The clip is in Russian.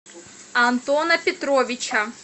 антона петровича